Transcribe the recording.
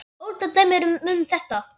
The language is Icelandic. Ótal dæmi eru um þetta.